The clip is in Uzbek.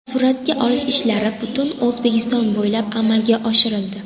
Suratga olish ishlari butun O‘zbekiston bo‘ylab amalga oshirildi.